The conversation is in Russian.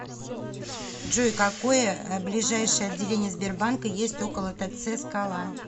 джой какое ближайшее отделение сбербанка есть около тц скала